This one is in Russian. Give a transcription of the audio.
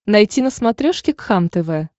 найти на смотрешке кхлм тв